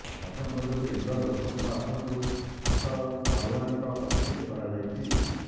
ମଧ୍ୟପ୍ରଦେଶ ଇନ୍ଦୋର ଲୋକସଭା ଆସନରୁ ଶଂକର ଲାଲୱାନିଙ୍କୁ ପ୍ରାର୍ଥୀ କରାଯାଇଛି